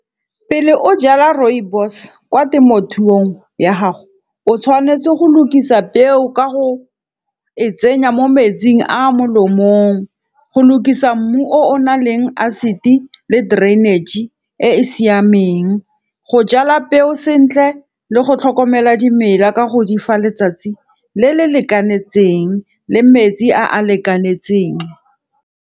Pele o jala rooibos kwa temothuong ya gago, o tshwanetse go lukisa peo ka go e tsenya mo metsing a a mo lomong. Go lokisa mmu o o na leng acid-e le drainage e e siameng. Go jala peo sentle le go tlhokomela dimela ka go di fa letsatsi le le lekanetseng le metsi a a lekanetseng.